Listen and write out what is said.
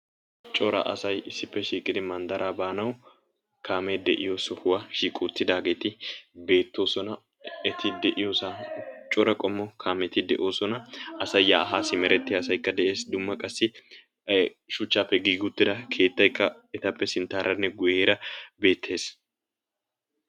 Cora asay issippe shiiqidi manddaraa baanawu kaame de'iyo sohuwa shiiqi uttaageeti beettoosona. eti de'iyoosa, cora qommo kaameti cora qommo kaameti de'oosona, asay yaa haa simmeriya asaykka des dumma qassi shuchchappe giigi uttida keetaykka etappe sinttaranne guyyera beettees.